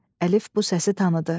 Əlif bu səsi tanıdı.